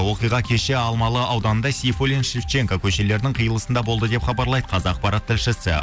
оқиға кеше алмалы ауданында сейфуллин шевченко көшелерінің қиылысында болды деп хабарлайды қазақпарат тілшісі